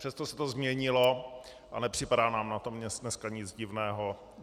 Přesto se to změnilo a nepřipadá nám na tom dneska nic divného.